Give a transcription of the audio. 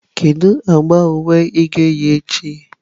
Kedu agba uwe ị ga-eyi echi?